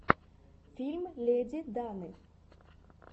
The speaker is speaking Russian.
фильм леди даны